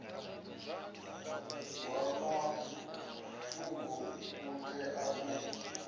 wa mafhungo u tea u